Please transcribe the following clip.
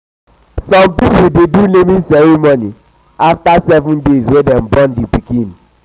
some pipo de do naming ceremony after 7 days wey dem born di pikin